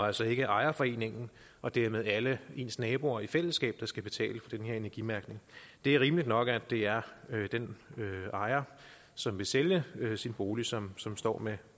altså ikke ejerforeningen og dermed alle ens naboer i fællesskab der skal betale for den her energimærkning det er rimeligt nok at det er den ejer som vil sælge sin bolig som som står